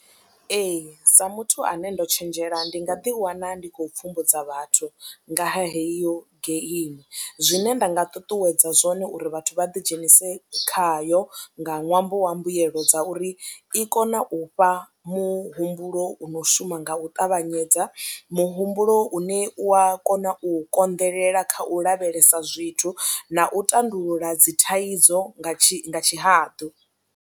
Ee, sa muthu ane ndo tshenzhela ndi nga ḓiwana ndi khou pfhumbudzwa vhathu nga heyo geimi zwine nda nga ṱuṱuwedza zwone uri vhathu vha ḓidzhenise khayo nga ṅwambo wa mbuyelo dza uri i kone u fha muhumbulo u no shuma nga u ṱavhanyedza, muhumbulo une u ya kona u konḓelela kha u lavhelesa zwithu na u tandulula dzi thaidzo nga tshihaḓu.